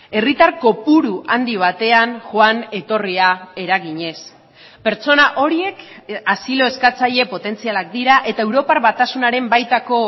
herritar kopuru handi batean joan etorria eraginez pertsona horiek asilo eskatzaile potentzialak dira eta europar batasunaren baitako